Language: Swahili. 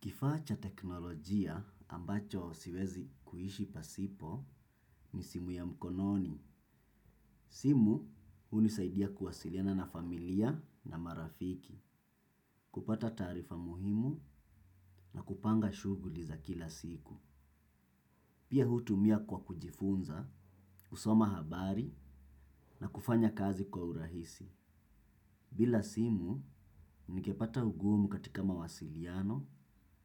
Kifaa cha teknolojia ambacho siwezi kuishi pasipo ni simu ya mkononi. Simu hunisaidia kuwasiliana na familia na marafiki, kupata taarifa muhimu na kupanga shughuli za kila siku. Pia hutumia kwa kujifunza, kusoma habari na kufanya kazi kwa urahisi. Bila simu, ningepata ugumu katika mawasiliano